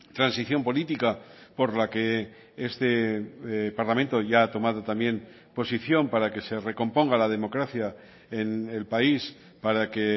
transición política por la que este parlamento ya ha tomado también posición para que se recomponga la democracia en el país para que